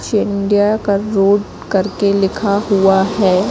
सिंडिया का रोड करके लिखा हुआ है।